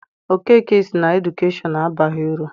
Okeke sị na edukeshọn abaghị uru.